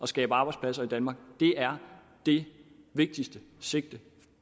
skabe arbejdspladser i danmark det er det vigtigste sigte